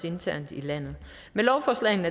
internt i landet med lovforslaget